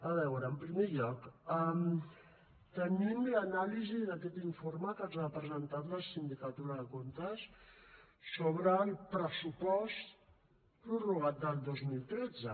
a veure en primer lloc tenim l’anàlisi d’aquest informe que ens ha presentat la sindicatura de comptes sobre el pressupost prorrogat del dos mil tretze